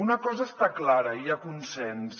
una cosa està clara hi ha consens